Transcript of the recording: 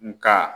Nga